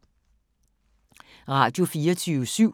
Radio24syv